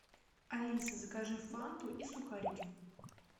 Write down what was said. алиса закажи фанту и сухарики